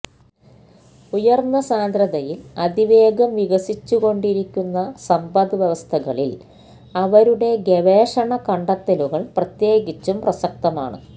ഉയർന്ന സാന്ദ്രതയിൽ അതിവേഗം വികസിച്ചുകൊണ്ടിരിക്കുന്ന സമ്പദ്വ്യവസ്ഥകളിൽ അവരുടെ ഗവേഷണ കണ്ടെത്തലുകൾ പ്രത്യേകിച്ചും പ്രസക്തമാണ്